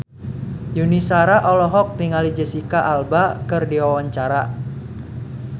Yuni Shara olohok ningali Jesicca Alba keur diwawancara